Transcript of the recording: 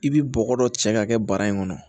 I bi bɔgɔ dɔ cɛ k'a kɛ bara in kɔnɔ